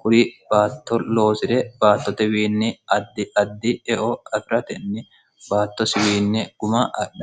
kuri baatto loosi're battotewiinni addi addieo firtn bttoswin 0um dh